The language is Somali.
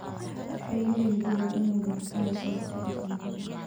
Beeraleydu waa inay bartaan ka hortagga cudurrada.